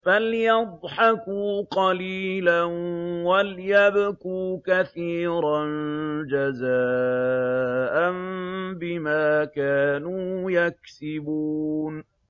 فَلْيَضْحَكُوا قَلِيلًا وَلْيَبْكُوا كَثِيرًا جَزَاءً بِمَا كَانُوا يَكْسِبُونَ